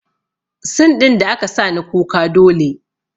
Sin ɗin da aka sani kuka dole